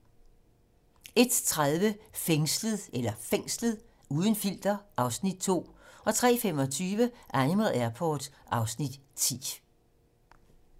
01:30: Fængslet - uden filter (Afs. 2) 03:25: Animal Airport (Afs. 10)